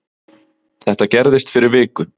Þetta gerðist fyrir viku